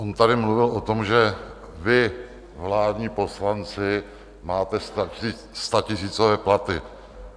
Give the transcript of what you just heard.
On tady mluvil o tom, že vy, vládní poslanci, máte statisícové platy.